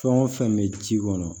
Fɛn o fɛn bɛ ji kɔnɔ